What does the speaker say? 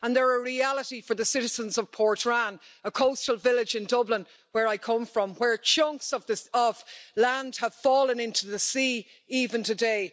they are a reality for the citizens of Portrane, a coastal village in Dublin where I come from, where chunks of land have fallen into the sea, even today.